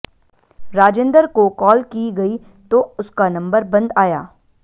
राजेंदर को कॉल की गई तो उसका नंबर बंद आया